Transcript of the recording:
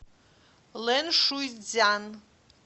лэншуйцзян